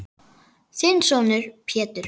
Þinn sonur, Pétur.